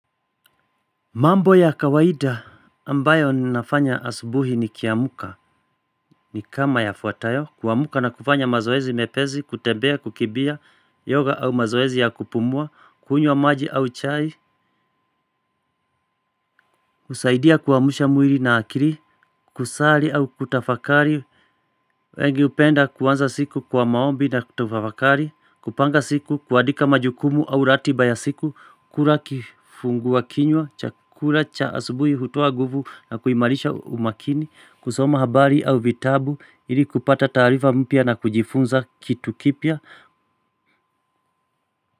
Mambo ya kawaida, ambayo ninafanya asubuhi nikiamka, ni kama yafuatayo, kuamka na kufanya mazoezi mepesi, kutembea, kukimbia, yoga au mazoezi ya kupumua, kunywa maji au chai, kusaidia kuamsha mwili na akili, kusali au kutafakari, wengi hupenda kuanza siku kwa maombi na kutafakari, kupanga siku, kuandika majukumu au ratiba ya siku, kula kifungua kinywa. Chakula cha asubuhi, hutoa nguvu na kuimarisha umakini, kusoma habari au vitabu, ili kupata taarifa mpya na kujifunza kitu kipya.